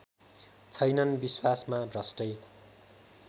छैनन् विश्वासमा भ्रष्टै